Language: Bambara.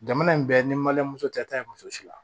Jamana in bɛɛ ni tɛ taa muso si la